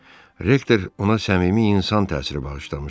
Rektor ona səmimi insan təsiri bağışlamışdı.